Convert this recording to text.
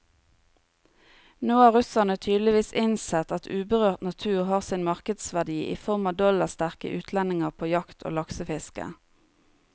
Nå har russerne tydeligvis innsett at uberørt natur har sin markedsverdi i form av dollarsterke utlendinger på jakt og laksefiske.